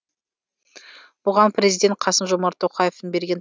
бұған президент қасым жомарт тоқаевтың берген